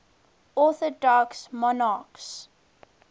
orthodox monarchs